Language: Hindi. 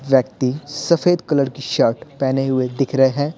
व्यक्ति सफेद कलर की शर्ट पहने हुए दिख रहे हैं।